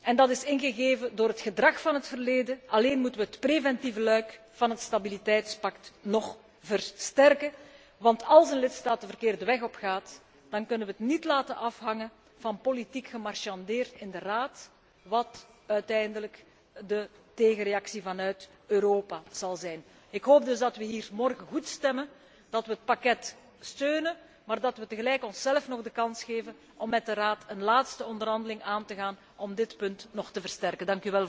en dat is ingegeven door het gedrag van het verleden moeten we het preventieve luik van het stabiliteitspact nog versterken, want als een lidstaat een verkeerde weg opgaat, dan kunnen we het niet laten afhangen van politiek gemarchandeer in de Raad wat uiteindelijk de tegenreactie vanuit Europa zal zijn. Ik hoop dus dat we hier morgen goed stemmen, dat we het pakket steunen, maar dat we tegelijk onszelf nog de kans geven om met de Raad een laatste onderhandeling aan te gaan om dit punt nog te versterken.